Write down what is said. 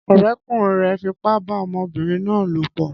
Ọ̀rẹ́kùnrin rẹ̀ fipá bá ọmọbìnrin náà lòpọ̀